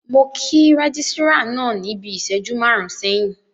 Mo kí rẹ́gísírà náà níbi ìṣẹ́jú máàrún sẹ́yìn